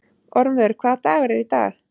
Ormur, hvaða dagur er í dag?